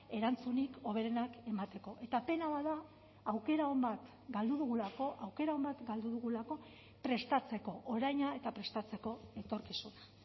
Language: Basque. erantzunik hoberenak emateko eta pena bat da aukera on bat galdu dugulako aukera on bat galdu dugulako prestatzeko oraina eta prestatzeko etorkizuna